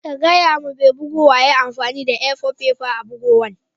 Gaya ma mai bugowan ya yi amfani da A-four fefa a'bugowan.